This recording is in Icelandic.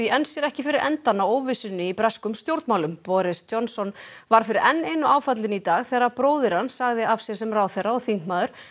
enn sér ekki fyrir endann á óvissunni í breskum stjórnmálum boris Johnson varð fyrir enn einu áfallinu í dag þegar bróðir hans sagði af sér sem ráðherra og þingmaður